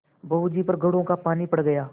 बहू जी पर घड़ों पानी पड़ गया